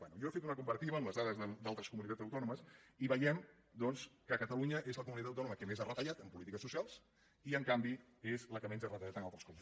bé jo he fet una comparativa amb les dades d’altres comunitats autònomes i veiem doncs que catalunya és la comunitat autònoma que més ha retallat en polítiques socials i en canvi és la que menys ha retallat en altres coses